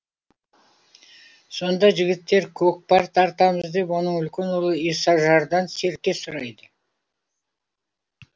сонда жігіттер көкпар тартамыз деп оның үлкен ұлы исажардан серке сұрайды